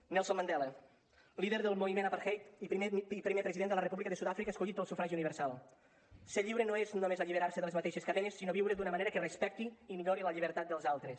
nelson mandela líder del moviment apartheid i primer president de la república de sud àfrica escollit pel sufragi universal ser lliure no és només alliberar se de les mateixes cadenes sinó viure d’una manera que respecti i millori la llibertat dels altres